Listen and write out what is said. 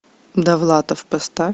довлатов поставь